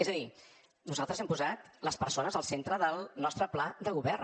és a dir nosaltres hem posat les persones al centre del nostre pla de govern